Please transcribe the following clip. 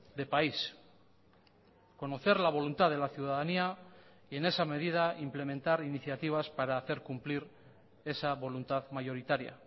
de país conocer la voluntad de la ciudadanía y en esa medida implementar iniciativas para hacer cumplir esa voluntad mayoritaria